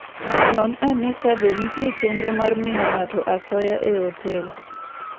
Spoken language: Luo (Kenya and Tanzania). Non ane kabe nitie chenro mar miyo ng'ato asoya e otel.